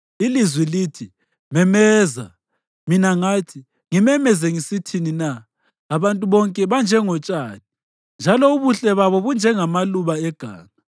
Ilizwi lithi, “Memeza!” Mina ngathi, “Ngimemeze ngisithini na?” “Abantu bonke banjengotshani njalo ubuhle babo bunjengamaluba eganga.